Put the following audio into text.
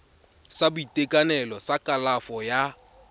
sa boitekanelo sa kalafo ya